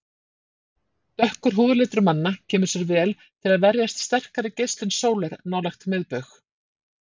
Dökkur húðlitur manna kemur sér vel til að verjast sterkri geislun sólar nálægt miðbaug.